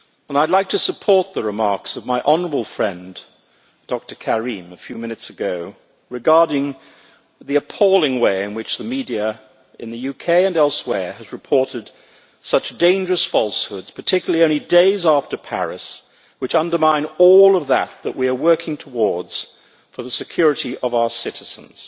I would like to support the remarks made by my honourable friend Dr Karim a few minutes ago regarding the appalling way in which the media in the UK and elsewhere has reported such dangerous falsehoods particularly only days after Paris which undermine all of what we are working towards for the security of our citizens.